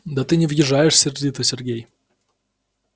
да ты не въезжаешь сердито сергей